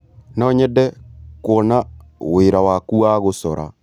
No nyende kuona wĩra waku wa gũcora.